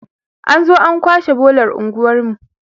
an zo an kwashe bolar unguwarmu